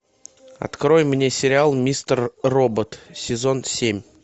открой мне сериал мистер робот сезон семь